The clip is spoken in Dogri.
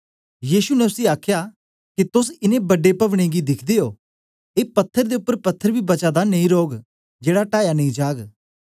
यीशु ने उसी आखया के तोस ए बड्डे पवनें गी दिख्दे ओ ए पत्थर दे उपर पत्थर बी बचा दा नेई रौग जेड़ा टाया नेई जाग